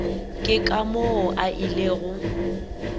ke ka moo a ilego